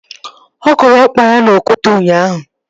Ọ kụrụ ọkpa ya n'okwute ụnyaahụ